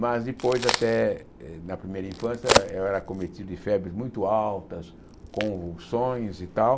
Mas depois, até na primeira infância, eu era cometido de febres muito altas, convulsões e tal.